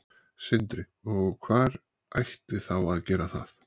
Sindri: Og hver ætti þá að gera það?